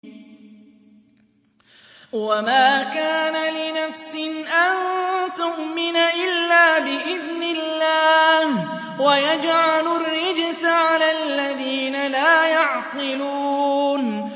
وَمَا كَانَ لِنَفْسٍ أَن تُؤْمِنَ إِلَّا بِإِذْنِ اللَّهِ ۚ وَيَجْعَلُ الرِّجْسَ عَلَى الَّذِينَ لَا يَعْقِلُونَ